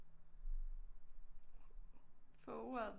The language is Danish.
Få ordet